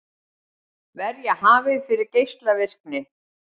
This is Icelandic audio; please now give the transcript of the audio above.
Verja hafið fyrir geislavirkni